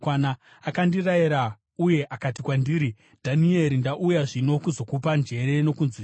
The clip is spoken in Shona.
Akandirayira uye akati kwandiri, “Dhanieri, ndauya zvino kuzokupa njere nokunzwisisa.